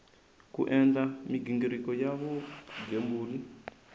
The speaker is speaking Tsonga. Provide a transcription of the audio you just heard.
ku endla mighingiriko ya vugembuli